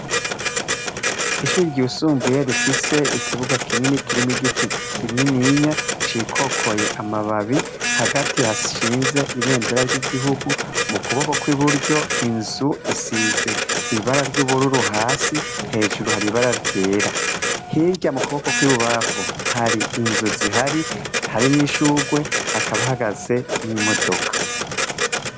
Ishuri ryusumbuye rifise ikibuga kinini kirimu giti kiininya cikokoye amababi, hagati hashinze ibendera ry'igihugu, mu kuboko kw'i buryo inzu isize ibara ry'ubururu hasi hejuru haribara ryera, hirya mu kuboko kw'ibubafu hari inzu zihari hari n'ishurwe hakaba hagaze n'imodoka.